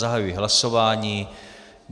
Zahajuji hlasování.